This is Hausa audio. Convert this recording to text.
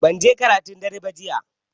Banje karatun dare ba jiya